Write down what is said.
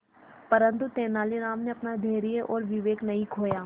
परंतु तेलानी राम ने अपना धैर्य और विवेक नहीं खोया